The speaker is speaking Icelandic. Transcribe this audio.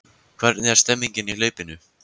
Hvernig er stemningin í hlaupinu?